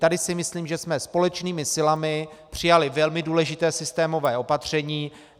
Tady si myslím, že jsme společnými silami přijali velmi důležité systémové opatření.